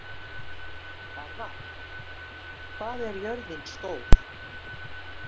Garðar, hvað er jörðin stór?